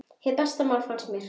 Hið besta mál, fannst mér.